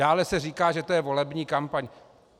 Dále se říká, že to je volební kampaň.